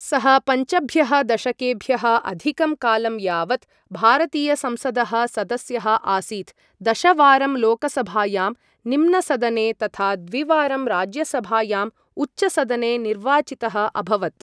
सः पञ्चभ्यः दशकेभ्यः अधिकं कालं यावत् भारतीयसंसदः सदस्यः आसीत्, दशवारं लोकसभायां, निम्नसदने, तथा द्विवारं राज्यसभायाम्, उच्चसदने निर्वाचितः अभवत्।